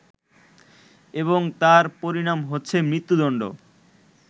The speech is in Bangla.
এবং তার পরিণাম হচ্ছে মৃত্যুদণ্ড